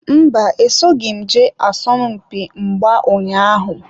Mba, esoghim jee isompi mgba ụnyaahụ.